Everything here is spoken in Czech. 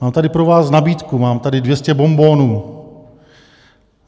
Mám tady pro vás nabídku, mám tady 200 bonbonů.